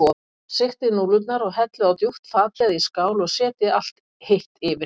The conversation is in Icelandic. Sigtið núðlurnar og hellið á djúpt fat eða í skál og setjið allt hitt yfir.